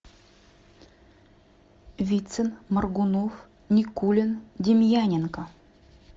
вицин моргунов никулин демьяненко